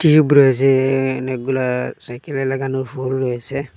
Tube রয়েছে এখানে অনেকগুলা সাইকেলে লাগানো ফুল রয়েসে।